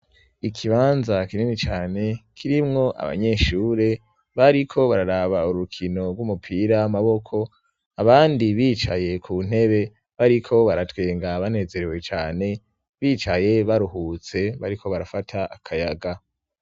ikibanza kinimi cane kirimwo abanyeshure bariko bararaba urukino rw'umupira amaboko abandi bicaye kuntebe bariko baratwenga banezerewe cane bicaye baruhutse bariko barafata akayaga